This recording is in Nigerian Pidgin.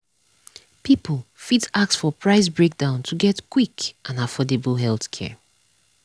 people fit ask for price breakdown to get quick and affordable healthcare.